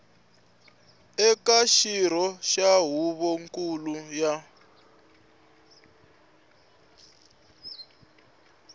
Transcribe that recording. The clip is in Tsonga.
eka xirho xa huvonkulu ya